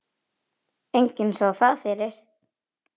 Enginn sá það fyrir.